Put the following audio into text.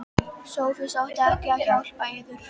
SOPHUS: Átti hann ekki að hjálpa yður?